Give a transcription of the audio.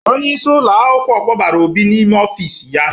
Onyeisi ụlọ akwụkwọ kpọbara Obi n'ime ofiisi ya.